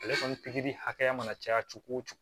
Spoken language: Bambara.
Ale kɔni pikiri hakɛya mana caya cogo o cogo